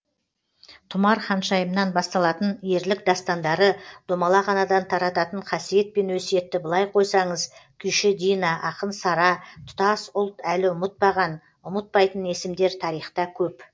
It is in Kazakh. тұмар ханшайымнан басталатын ерлік дастандары домалақ анадан тарататын қасиет пен өсиетті былай қойсаңыз күйші дина ақын сара тұтас ұлт әлі ұмытпаған ұмытпайтын есімдер тарихта көп